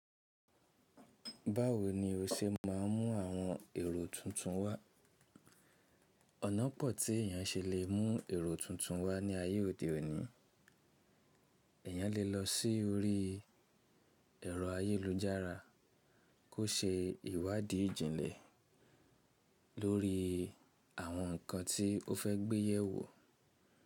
Báwo ni o ṣe máa ń mú àwọn èrò tuntun wá? Ọ̀nà pọ̀ tí èèyàn ṣe lè mú èrò tuntun wá ní ayé òde òní. Èèyàn lè lọ sí orí ẹ̀rọ ayélujára kó ṣe ìwádìí jìnlẹ̀ lórí àwọn nǹkan tí o fẹ́ gbé yẹ̀ wò.